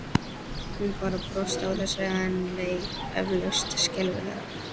Hún bara brosti að þessu en leið eflaust skelfilega.